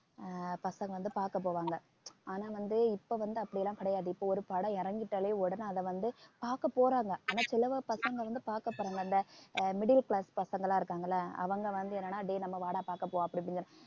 ஆஹ் பசங்க வந்து பார்க்க போவாங்க ஆனா வந்து இப்ப வந்து அப்படி எல்லாம் கிடையாது இப்ப ஒரு படம் இறங்கிட்டாலே உடனே அதை வந்து பார்க்க போறாங்க ஆனா சில பசங்க வந்து பார்க்க போறாங்க அந்த middle class பசங்கெல்லாம் இருக்காங்கல்ல அவங்க வந்து என்னன்னா டேய் நம்ம வாடா பார்க்க போ அப்படி இப்படிங்கிற